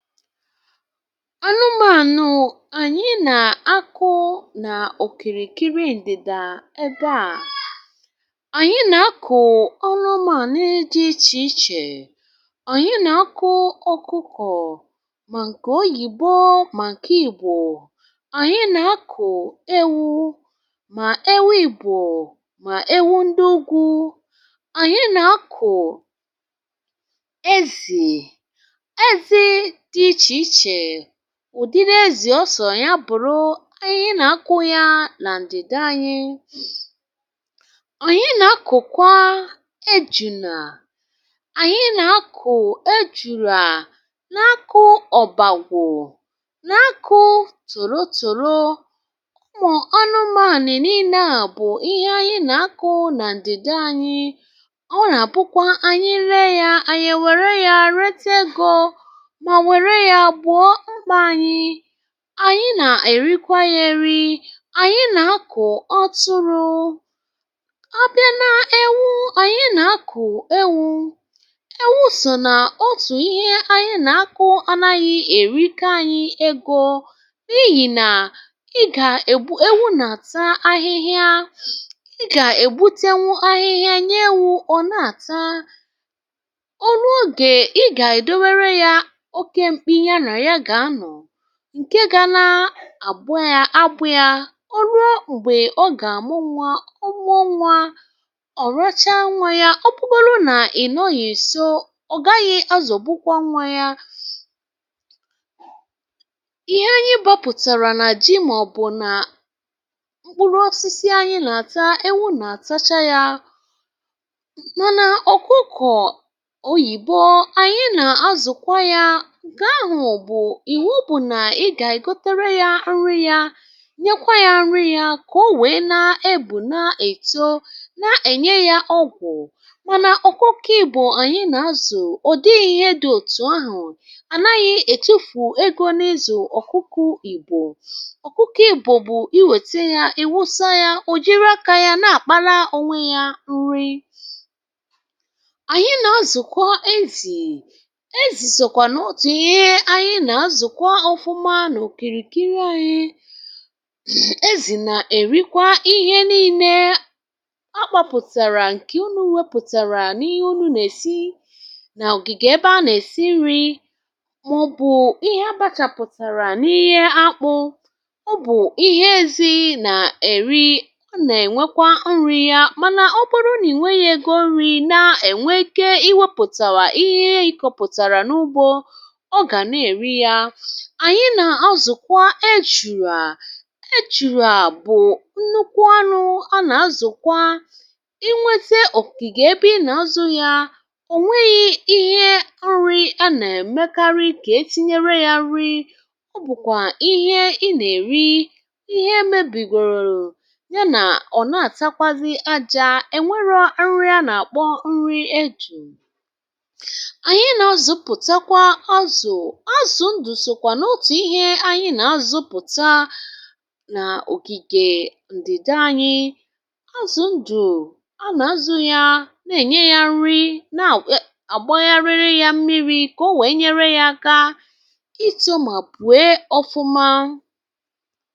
Anụmànụ̀ anyị na-akụ nà òkìrìkìrì ndịda ebe a, anyị na-akụ anụ̀ dị iche iche. um Anyị na-akụ ọkụkọ̀ ma nke oyìbọ, ma nke Ìgbò. Anyị na-akụ ewū ma ewū Ìgbò, ma ewū ndị ugwu. Anyị na-akụ ezì, ụdị na-ezì ọsọ, ya bụ̀ro anyị na-akụ ya na ndịda anyị. Anyị na-akụkwa ejùnā, anyị na-akụ ejùrù um a na-akụ ọ̀bàgwụ̀, a na-akụ tòrọ̀ tòrọ̀, ma ọnụ, ma ànị.. N’ịnị, bụ ihe anyị na-akụ na ndịda anyị. Ọ na-abụkwa, anyị lè ya, anyị were ya retè ego. Anyị na-èrikwa yeri; anyị na-akụ ọtụrụ̀ abịa n’ewū. Anyị na-akụ ewū, ewū, (ụm), bụ otu n’ime ihe anyị na-akụ, mana anaghị eri ya naanị anyị na-erekwa ya, iji nweta ego. Bịhị nà, ị ga-egbu ewū, na-ata ahịhịa, ga-egbute ahịhịa, nye ewū ka ọ na-ata... Nke ga na-abụọ ya abụ̀ ya; o ruo mgbe ọ ga-amụ nwa. um Ụmụ nwa ọ racha nwa ya, ọ bụrụ na ịnọ ya èso, ọ gaghị azụ̀bụkwa nwa ya. Ihe anyị bapụtara na ji, maọ̀bụ na mkpụrụ um osisi, anyị na-ata, ewū na-atacha ya. Mana ọkụkọ̀ oyìbọ, anyị na-azụkwa ya. Ịbụ̀ na ị ga-agotara ya nri, nya nri, ka o wee na-ebù, na-èto, na-enye ya ọgwụ̀. Mana ọkụkọ̀ ìbụ̀ anyị na-azụ, ọ dịghị ihe dị otu ahụ̀ um anaghị etufù ego. N’izu ọkụkọ̀ ìbụ̀, ọ bụ iwète ya, iwusa ya, o jiraka ya, na-akpara onwe ya nri. Anyị na-azụkwa ezì, na-azụkwa anụ̄ kìrìkìrì... Anyị ezì na-èrikwa ihe niile (um)ọkpọ̀ pụ̀tara, nke unu nwepụ̀tara n’ihe unu na-esi n’ọ̀gị̀gì̀, ebe a na-esi nri maọ̀bụ ihe abàchà pụ̀tara, n’ihe akpụ̀. Ọ bụ ihe ezì na-èri; ọ na-enwekwa nri ya, mana ọ kpụrụ n’ìnwè igụ nri, na-enwè ike iwepụ̀ta ihe ịkọ̀ pụ̀tara n’ugbò... Anyị na-azụkwa ejùrù; ejùrù bụ nnukwu anụ̄ a na-azụkwa, inweta ofù kà ígè, ebe ị na-azụ ya, ò nweghi ihe um nri a na-emekarị ka etinyere ya nri. Ọ bụkwa ihe ị na-èri, ihe emebìgorò ya na-ata, ọ na-ata kwa aja. Enwere nri a na-akpọ nri ejù, (ụm), anyị na-azụpụtakwa azụ̀, na-azụpụ̀ta n’ògìgè ndịda anyị. Azù ndụ̀ a, a na-azụ ya, na-enye ya nri, na-agbàghị arịrị ya mmirī, ka o wee nyere ya aka ito, ma bue ọma.